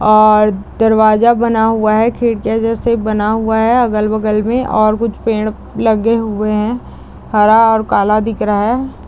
और दरवाजा बना हुआ हैं |खिडक़ीयों जैसा बना हुआ है अगल-बगल मे और कुछ पेड़ लगे हुए है हरा और काला दिख रहा है ।